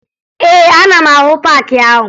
Ee, ana m ahụ paakị ahụ